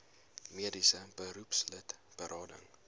mediese beroepslid berading